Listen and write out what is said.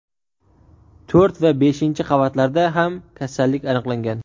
to‘rt va beshinchi qavatlarda ham kasallik aniqlangan.